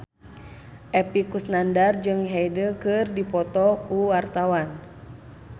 Epy Kusnandar jeung Hyde keur dipoto ku wartawan